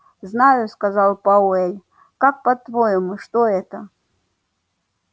знаю сказал пауэлл как по-твоему что это